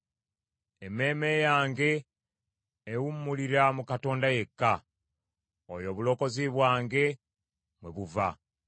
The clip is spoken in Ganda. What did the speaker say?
Emmeeme yange ewummulira mu Katonda yekka; oyo obulokozi bwange mwe buva.